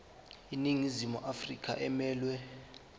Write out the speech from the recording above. iningizimu afrika emelwe